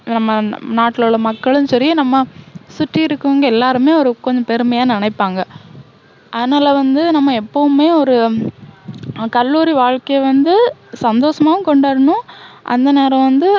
நம்ம ந~நாட்டுல உள்ள மக்களும் சரி, நம்ம சுத்தி இருக்கவங்க எல்லாருமே ஒரு கொஞ்சம் பெருமையா நினைப்பாங்க. அதனால வந்து நம்ம எப்போவுமே ஒரு அஹ் கல்லூரி வாழ்கைய வந்து சந்தோஷமாவும் கொண்டாடணும். அந்த நேரம் வந்து